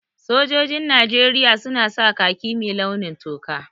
Sojojin Najeriya su na sa khaki mai launin toka